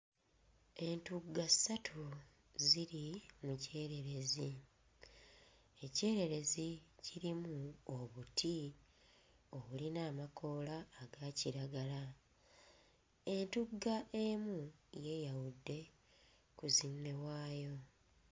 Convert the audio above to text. Entugga ssatu ziri mu kyererezi. Ekyererezi kirimu obuti obulina amakoola aga kiragala. Entugga emu yeeyawudde ku zinne waayo.